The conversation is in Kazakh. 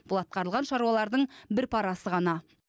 бұл атқарылған шаруалардың бір парасы ғана